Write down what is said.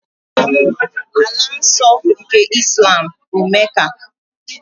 Ala nsọ nke Islam bụ Mecca.